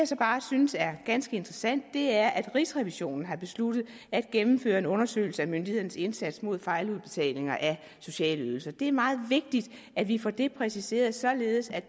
så bare synes er ganske interessant er at rigsrevisionen har besluttet at gennemføre en undersøgelse af myndighedernes indsats mod fejludbetalinger af sociale ydelser det er meget vigtigt at vi får det præciseret således at